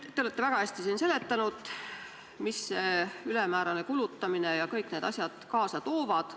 Te olete väga hästi siin seletanud, mida see ülemäärane kulutamine ja kõik need asjad kaasa toovad.